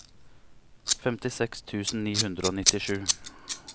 femtiseks tusen ni hundre og nittisju